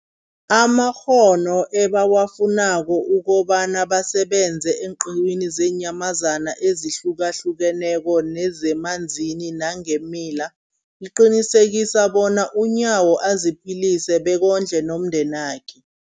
amakghono ebawafunako ukobana basebenze eenqiwini zeenyamazana ezihlukahlukeneko nezemanzini nangeemila, liqinisekisa bona uNyawo aziphilise bekondle nomndenakhe.